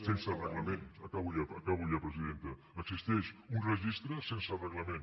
sense reglament acabo ja presidenta existeix un registre sense reglament